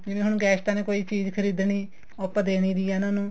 ਜਿਵੇਂ ਹੁਣ ਗੈਸਟਾ ਨੇ ਕੋਈ ਚੀਜ਼ ਖਰੀਦਣੀ ਉਹ ਆਪਾਂ ਦੇ ਦੇਣੀ ਵੀ ਹੈ ਉਹਨਾ ਨੂੰ